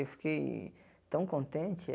Eu fiquei tão contente.